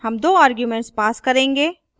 हम दो arguments pass करेंगे